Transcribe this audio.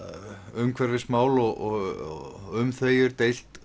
umhverfismál og um þau er deilt